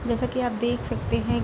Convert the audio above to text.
जैसा की आप देख सकते हैं --